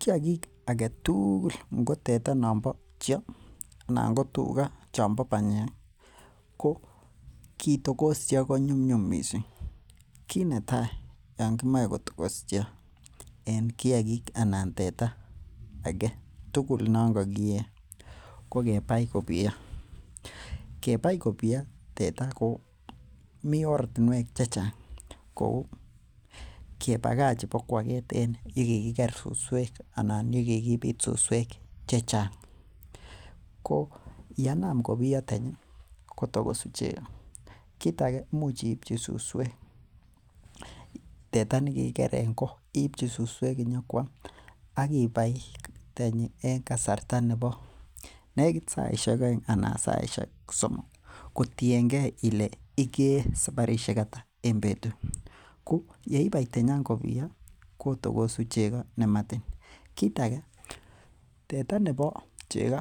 Kiagik alak tugul ngo teta nombo cheaa, ingo nombo panyek, ko kitogos cheoo ko nyum nyu missing', kinetai Yoon kimoe kotokos cheo en kiagik anan teta nongokikee ko kebai kobiyo. Anan ko kebakach ibokuaget en yekikiker susuek anan ko yekikibit susuek susuek chechang'. Ko yanam kobiyo tenyi kotokosu chego. Kit age imuch iiebchi susuek teta nekikiker en go iibchi susuek Kuam agi bai tanyi en kasarta nebo negit saishek aeng' anan saishek somok kotiengee kole ikee sabarisiek ata en betut. Ko yeibai tenyan kobiyo kotokosu chego nematiny, kora teta nebo chego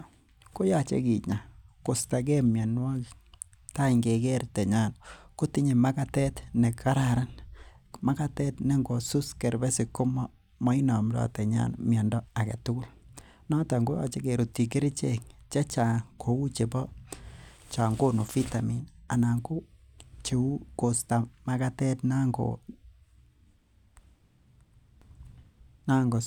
koyache kinya koistagee mionwokik tai ingeker tenyan kotinye magatet ne kararan, magatet nengosus kerbesik komainamndo tenyan miando egetukul noton ingerutyi kerichek chechang' anan kou Kosta magatet nango